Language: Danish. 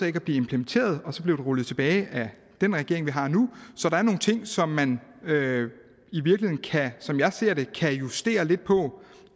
ikke at blive implementeret og så blev det rullet tilbage af den regering vi har nu så der er nogle ting som man som jeg ser det kan justere lidt på